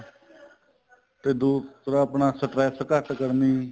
ਤੇ ਦੂਸਰਾ ਆਪਣਾ stress ਘੱਟ ਕਰਨੀ